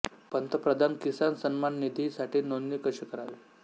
पंतप्रधान किसान सन्मान निधी साठी नोंदणी कशी करावी